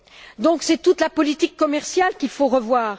C'est donc toute la politique commerciale qu'il faut revoir.